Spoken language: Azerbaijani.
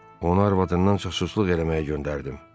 Onu arvadından casusluq eləməyə göndərdim.